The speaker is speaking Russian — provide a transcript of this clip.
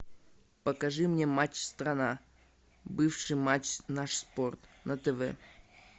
покажи мне матч страна бывший матч наш спорт на тв